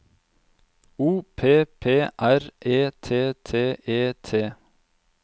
O P P R E T T E T